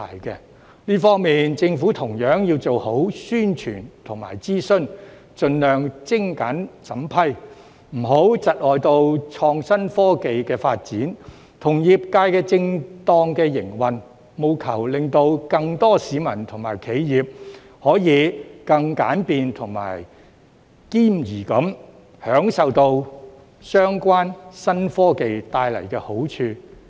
在這方面，政府同樣要做好宣傳和諮詢，盡量精簡審批，不要窒礙創新科技的發展，以及業界的正當營運，務求令更多市民和企業，可以更簡便和兼宜地享用相關新科技帶來的好處。